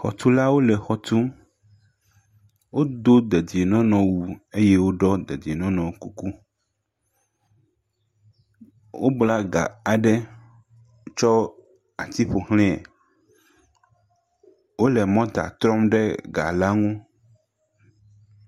Xɔtulawo le xɔ tum. Wodo dedienɔnɔwu. Eye woɖɔ dedienɔnɔkuku. Wobla ga aɖe, tsɔ ati ƒoxlẽ Wole mɔta trɔm ɖe ga la ŋu